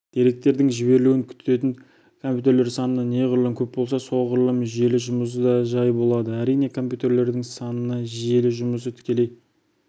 деректердің жіберілуін күтетін компьютерлер саны неғұрлым көп болса соғұрлым желі жұмысы да жай болады әрине компьютерлердің санына желі жұмысы тікелей